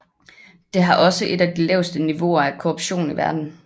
Det har også et af de laveste niveauer af korruption i verden